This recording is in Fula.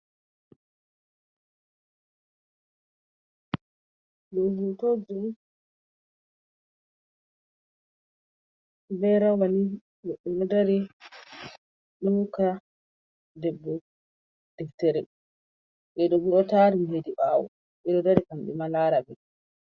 Ɗo hotoji on be rawani goɗɗo ɗo dari, ɗo hoka debbo deftere, ɓeɗo bo ɗo tari hedi ɓawo ɓeɗo dari kamɓe ma lara ɓe.